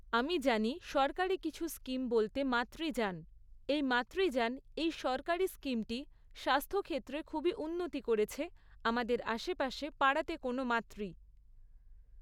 আমি জানি সরকারি কিছু স্কিম বলতে মাতৃযান, এই মাতৃযান এই সরকারি স্কিমটি স্বাস্থ্য ক্ষেত্রে খুবই উন্নতি করেছে আমাদের আশেপাশে পাড়াতে কোনো মাতৃ